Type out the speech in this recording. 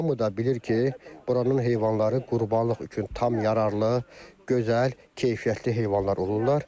Və hamı da bilir ki, buranın heyvanları qurbanlıq üçün tam yararlı, gözəl, keyfiyyətli heyvanlar olurlar.